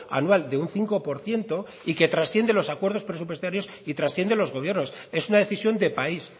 anual de un cinco por ciento y que trasciende los acuerdos presupuestarios y trasciende los gobiernos es una decisión de país